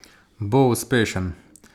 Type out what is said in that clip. Bo uspešen?